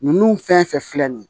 Ninnu fɛn fɛn filɛ nin ye